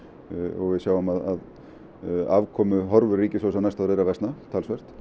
og við sjáum að afkomuhorfur ríkissjóðs á næsta ári eru að versna talsvert